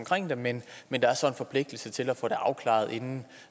det men men der er så en forpligtelse til at få det afklaret inden